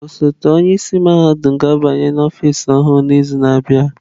Osote onye isi mahadum ga-abanye n'ọfịs ọhụrụ ya n'izu na-abịa.